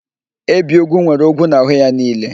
Ebiogwu nwere ogwu n'ahụ ya niile.